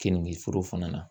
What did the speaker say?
Keninge foro fana na